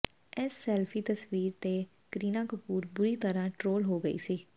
ਇਸ ਸੈਲਫੀ ਤਸਵੀਰ ਤੇ ਕਰੀਨਾ ਕਪੂਰ ਬੁਰੀ ਤਰ੍ਹਾਂ ਟ੍ਰੋਲ ਹੋ ਗਈ ਸੀ